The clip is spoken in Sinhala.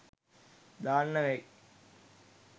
දාන්න වෙයි